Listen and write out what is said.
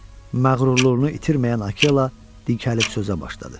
Məğrurluğunu itirməyən Akella dikəlib sözə başladı.